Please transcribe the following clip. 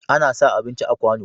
Ana sa abinci a kwano.